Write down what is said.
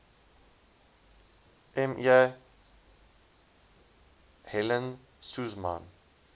me helen suzman